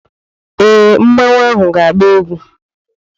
Ee, mmanu ahụ na-agba egwu.